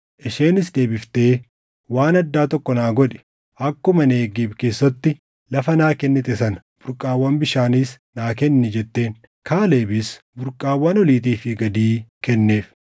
Isheenis deebiftee, “Waan addaa tokko naa godhi. Akkuma Negeeb keessatti lafa naa kennite sana burqaawwan bishaaniis naa kenni” jetteen. Kaalebis burqaawwan oliitii fi gadii kenneef.